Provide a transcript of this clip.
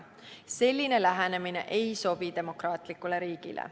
Selline lähenemine ei sobi demokraatlikule riigile.